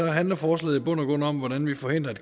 handler forslaget i bund og grund om hvordan vi forhindrer at